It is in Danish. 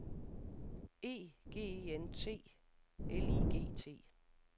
E G E N T L I G T